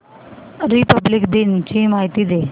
Republic दिन ची माहिती दे